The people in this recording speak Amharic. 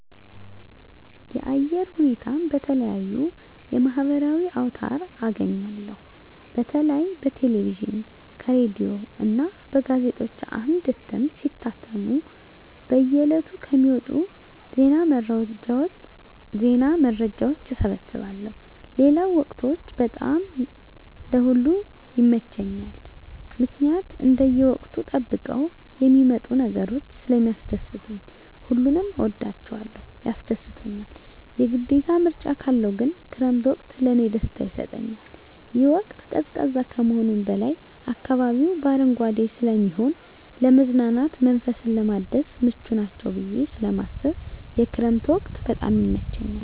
የአየር ሁኔታን በተለየዩ የማህበራዊ አውታር አገኛለሁ በተለይ በቴሌቪዥን ከሬዲዮ እና በጋዜጦች አምድ እትም ሲታተሙ በየ ዕለቱ ከሚወጡ ዜና መረጃዎች እሰበስባለሁ ሌለው ወቅቶች በጣም ለእ ሁሉም ይመቸኛል ምክኒያት እንደየ ወቅቱን ጠብቀው የሚመጡ ነገሮች ስለሚስደስቱኝ ሁሉንም እወዳቸዋለሁ ያስደስቱኛል የግዴታ ምርጫ ካለው ግን ክረምት ወቅት ለእኔ ደስታ ይሰጠኛል ይህ ወቅት ቀዝቃዛ ከመሆኑም በላይ አካባቢው በአረንጓዴ ስለሚሆን ለመዝናናት መንፈስን ለማደስ ምቹ ናቸው ብየ ስለማስብ የክረምት ወቅት በጣም ይመቸኛል።